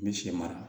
N bɛ sɛ mara